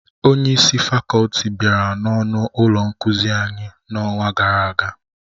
Onye isi fakọlti bịara n'ọnụ ụlọ nkuzi anyị n'ọnwa gara aga